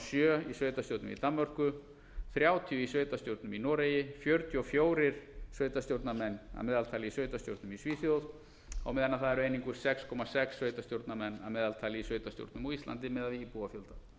sjö í sveitarstjórnum í danmörku þrjátíu í sveitarstjórnum í noregi fjörutíu og fjögur sveitarstjórnarmenn að meðaltali í sveitarstjórnum í svíþjóð og meðan það eru einungis sex komma sex sveitarstjórnarmenn í sveitarstjórnum á íslandi miðað við íbúafjölda